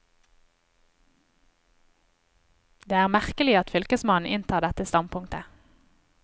Det er merkelig at fylkesmannen inntar dette standpunktet.